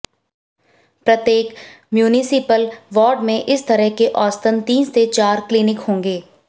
प्रत्येक municipal ward में इस तरह के औसतन तीन से चार क्लिनिक होंगे